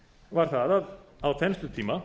var það að á þenslutíma